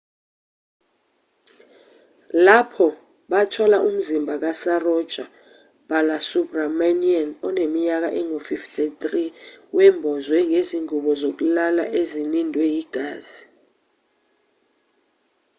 lapho bathola umzimba kasaroja balasubramanian oneminyaka engu-53 wembozwe ngezingubo zokulala ezinindwe yigazi